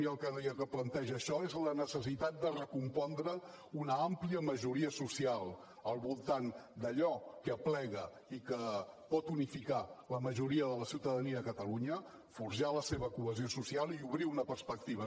i el que planteja això és la necessitat de recompondre una àmplia majoria social al voltant d’allò que aplega i que pot unificar la majoria de la ciutadania de catalunya forjar la seva cohesió social i obrir una perspectiva